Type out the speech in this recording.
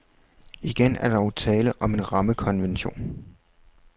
Igen er der dog tale om en rammekonvention.